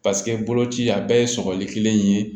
Paseke boloci a bɛɛ ye sɔgɔli kelen in ye